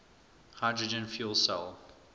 hydrogen fuel cell